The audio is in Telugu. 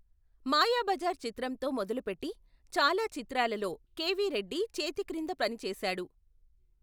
మాయాబజార్ చిత్రంతో మొదలుపెట్టి చాలా చిత్రాలలో కెవి రెడ్డి చేతిక్రింద పనిచేశాడు.